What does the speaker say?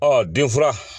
Ɔ denfura